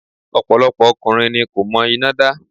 Ọ̀pọ̀lọpọ̀ ọkùnrin ni kò mọ iná dá.